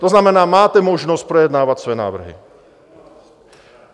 To znamená, máte možnost projednávat své návrhy.